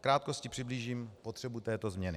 V krátkosti přiblížím potřebu této změny.